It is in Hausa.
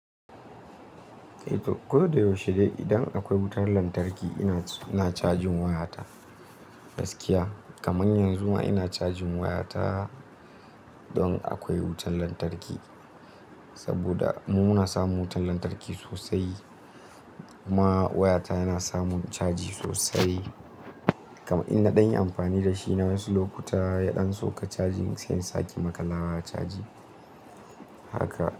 Koda yaushe idan akwai wutar lantarki ina cajin wayata gaskiya kamar yanzu ma ina cajin wayata don akwai wutan lantarki saboda mu muna samun wutan lantarki sosai kuma wayata yana samun caji sosai. Kam in na ɗan yi amfani da shi na yi wasu lokuta ya ɗan sauka cajin sai in sake maƙa lawa caji haka.